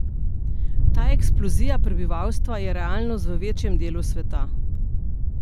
Ta eksplozija prebivalstva je realnost v večjem delu sveta.